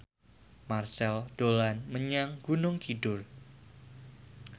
Marchell dolan menyang Gunung Kidul